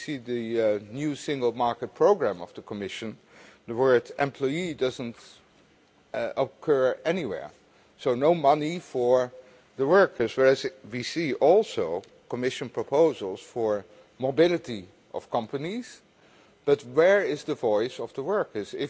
If you see the new single market programme of the Commission, the word employee' doesn't occur anywhere. So no money for the workers, whereas we also see Commission proposals for mobility of companies. But where is the voice of the workers?